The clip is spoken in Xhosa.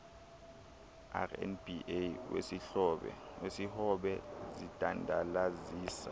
rnba wesihobe zidandalazisa